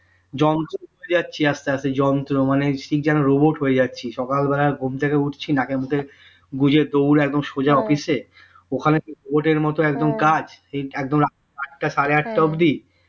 যন্ত্র হয়ে যাচ্ছি আস্তে আস্তে যন্ত্র মানে সেই যেন robot হয়ে যাচ্ছি সকাল বালাই ঘুম থেকে উঠছি না মুখে গুঁজে দৌড়ে একদম সোঝা office এ ওখানে keyboard মতো একদম কাজ একদম আটটা সাড়ে আটটা অবধি